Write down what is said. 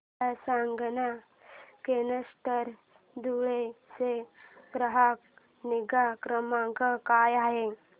मला सांगाना केनस्टार धुळे चा ग्राहक निगा क्रमांक काय आहे